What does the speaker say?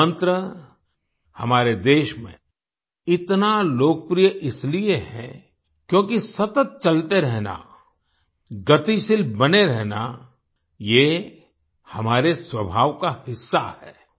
ये मंत्र हमारे देश में इतना लोकप्रिय इसलिए है क्योंकि सतत चलते रहना गतिशील बने रहना ये हमारे स्वभाव का हिस्सा है